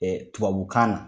Tubabukan na.